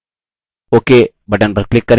ok button पर click करें